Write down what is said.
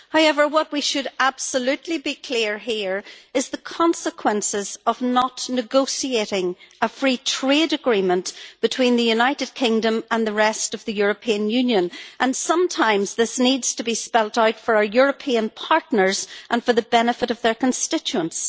However, what we should absolutely be clear about here is the consequences of not negotiating a free trade agreement between the United Kingdom and the rest of the European Union, and sometimes this needs to be spelt out for our European partners and for the benefit of their constituents.